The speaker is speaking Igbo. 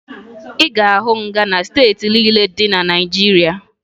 Ị ga-ahụ nga na steeti niile dị na Naịjirịa